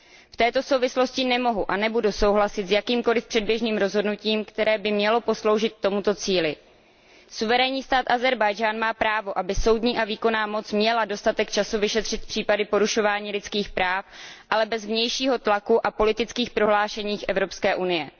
V této souvislosti nemohu a nebudu souhlasit s jakýmkoliv předběžným rozhodnutím, které by mělo posloužit k tomuto cíli. Suverénní stát Ázerbájdžán má právo, aby soudní a výkonná moc měla dostatek času vyšetřit případy porušování lidských práv, ale bez vnějšího tlaku a politických prohlášení Evropské unie.